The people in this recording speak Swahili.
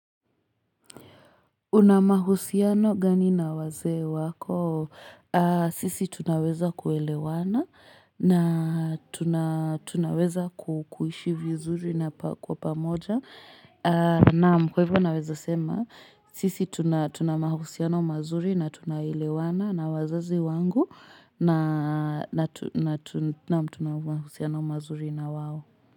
Una mahusiano gani na wazee wako sisi tunaweza kuelewana na tunaweza kukuishi vizuri na kwa pamoja naam kwa hivyo naweza sema sisi tunamahusiano mazuri na tunaelewana na wazazi wangu na tunamahusiano mazuri na wao.